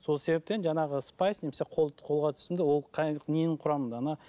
сол себептен жаңағы спайс немесе қолға түсімді ол қай ненің құрамында